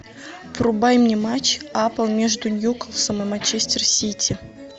врубай мне матч апл между ньюкасл и манчестер сити